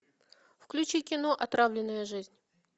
включи кино отравленная жизнь